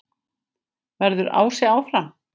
Verður Ási áfram?